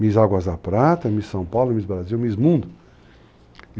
MIS Águas da Prata, MIS São Paulo, MIS Brasil, MIS Mundo.